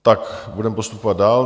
Tak, budeme postupovat dál.